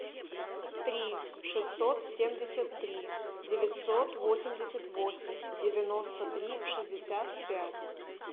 три шестьсот семьдесят три девятьсот восемьдесят восемь девяносто три шестьдесят пять